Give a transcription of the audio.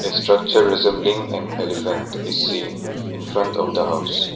structure resembling an elephant is seen in front of the house.